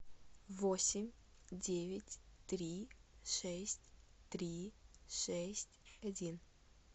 восемь девять три шесть три шесть один